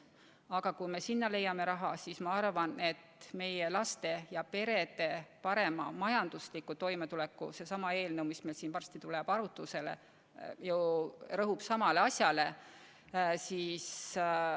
Aga kui me selleks leiame raha, siis ma arvan, et meie laste ja perede parema majandusliku toimetuleku nimel on nende 2,4 miljoni riigieelarvest leidmine ainult tahtmise küsimus.